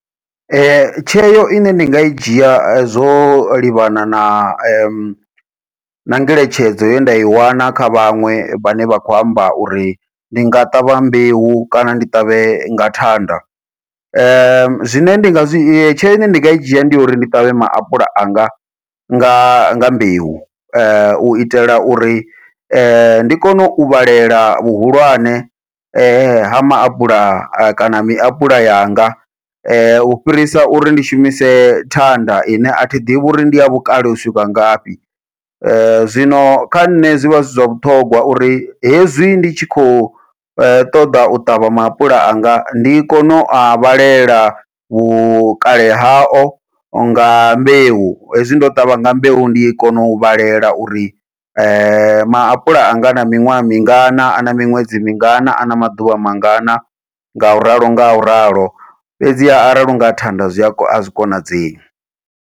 Tsheo ine ndi nga i dzhia zwo livhana na na na ngeletshedzo ye nda i wana kha vhaṅwe vhane vha khou amba uri ndi nga ṱavha mbeu kana ndi ṱavhe nga thanda, zwine nda nga zwi tsheo ine ndinga i dzhia ndi uri ndi ṱavhe maapula anga nga nga mbeu, u itela uri ndi kone u vhalela vhuhulwane ha maapula kana miapula yanga u fhirisa uri ndi shumise thanda ine athi ḓivhi uri ndi ya vhukale u swika ngafhi. Zwino kha nṋe zwivha zwi zwa vhuṱhongwa uri hezwi ndi tshi khou u ṱoḓa u ṱavha maapula anga ndi kone u a vhalela vhukale hao nga mbeu, hezwi ndo ṱavha nga mbeu ndi kono u vhalela uri maapula anga ana miṅwaha mingana ana miṅwedzi mingana ano maḓuvha mangana ngau ralo ngau ralo, fhedziha arali hu nga thanda zwi azwi konadzei.